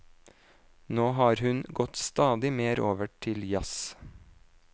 Nå har hun gått stadig mer over til jazz.